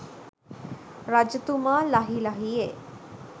රජතුමා ලහි ලහියේ